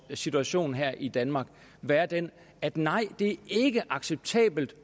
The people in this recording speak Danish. en situation her i danmark være den at nej det er ikke acceptabelt